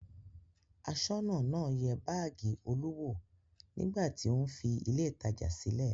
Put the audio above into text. Aṣọ́nà náà yẹ báágì Olú wò nígbà tí ó ń fi ilé-ìtajà sílẹ̀.